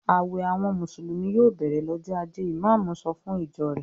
"Àwẹ̀ àwọn Mùsùlùmí yòò bẹ̀rẹ̀ lọ́jọ́ ajé!" Ìmáámù sọ fún ìjọ rẹ̀.